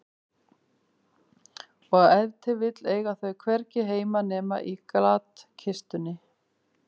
Og ef til vill eiga þau hvergi heima nema í glatkistunni.